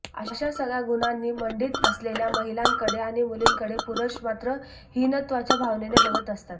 अशा सगळ्या गुणांनी मंडित असलेल्या महिलांकडे आणि मुलींकडे पुरुष मात्र हीनत्वाच्या भावनेने बघत असतात